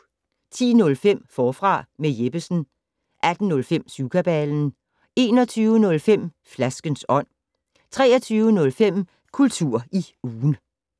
10:05: Forfra med Jeppesen 18:05: Syvkabalen 21:05: Flaskens ånd 23:05: Kultur i ugen